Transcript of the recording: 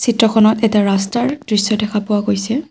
চিত্ৰখনত এটা ৰাস্তাৰ দৃশ্য দেখা পোৱা গৈছে।